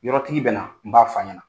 Yɔrɔtigi bɛ na n b'a f'a ɲɛna.